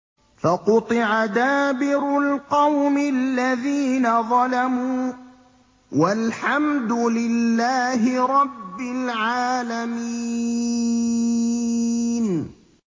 فَقُطِعَ دَابِرُ الْقَوْمِ الَّذِينَ ظَلَمُوا ۚ وَالْحَمْدُ لِلَّهِ رَبِّ الْعَالَمِينَ